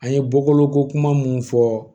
An ye bɔkolo ko kuma munnu fɔ